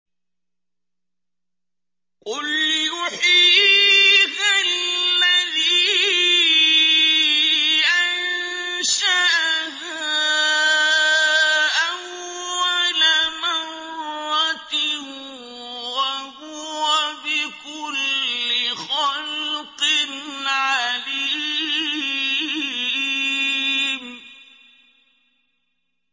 قُلْ يُحْيِيهَا الَّذِي أَنشَأَهَا أَوَّلَ مَرَّةٍ ۖ وَهُوَ بِكُلِّ خَلْقٍ عَلِيمٌ